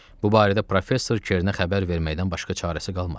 Bu barədə professor Kerinə xəbər verməkdən başqa çarəsi qalmadı.